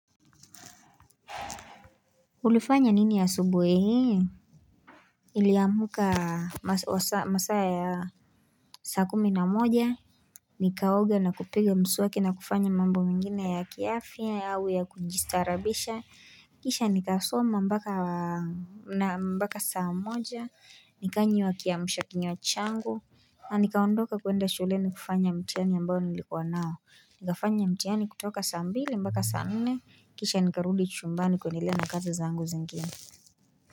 Ulifanya nini ya asubuhi hii niliamka masaa ya saa kumi na moja Nikaoga na kupiga mswaki na kufanya mambo mengine ya kiafya yawe ya kujistaarabisha Kisha nikasoma mpaka, naam mpaka saa moja, nikanywa kiamsha kinywa changu na nikaondoka kwenda shuleni kufanya mtihani ambayo nilikuwa nao. Nikafanya mtihani kutoka saa mbili mpaka saa nne kisha nikarudi chumbani kuendelea na kazi zangu zingine.